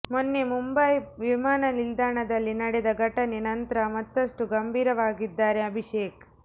ಮೊನ್ನೆ ಮುಂಬೈ ವಿಮಾನ ನಿಲ್ದಾಣದಲ್ಲಿ ನಡೆದ ಘಟನೆ ನಂತ್ರ ಮತ್ತಷ್ಟು ಗಂಭೀರವಾಗಿದ್ದಾರೆ ಅಭಿಷೇಕ್